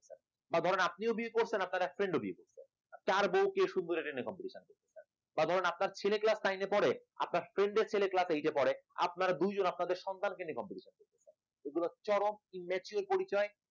ধরুন আপনিও বিয়ে করছেন আপনার এক friend ও বিয়ে করছে, কার বউ কে সুন্দর এটা নিয়ে competition বা ধরুন আপনার ছেলে class nine এ পড়ে আপনার friend এর ছেলে class eight এ পড়ে, আপনারা দুইজন আপনাদের সন্তানকে নিয়ে competition এগুলো চরম immature পরিচয়